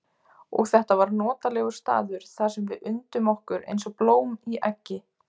Og þetta var notalegur staður þar sem við undum okkur eins og blóm í eggi.